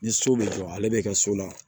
Ni so bɛ jɔ ale bɛ kɛ so la